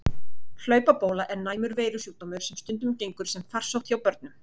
Hlaupabóla er næmur veirusjúkdómur sem stundum gengur sem farsótt hjá börnum.